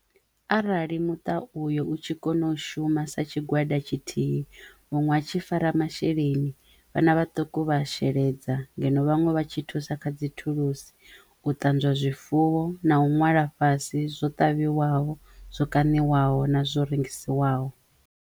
Arali muṱa uyo u tshi kono shuma sa tshigwada tshithihi muṅwe a tshi fara masheleni vhana vhaṱuku vha sheledza ngeno vhaṅwe vha tshi thusa kha dzi thulusi, u ṱanzwa zwifuwo na u ṅwala fhasi zwo ṱavhiwaho, zwo kaṋiwaho na zwo rengisiwaho.